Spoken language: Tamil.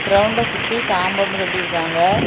கிரவுண்ட சுத்தி காம்பவுண்ட் கட்டி இருக்காங்க.